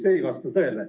See ei vasta tõele.